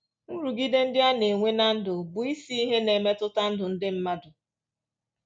Nrụgide ndị a na-enwe ná ndụ bụ isi ihe na-emetụta ndụ ndị mmadụ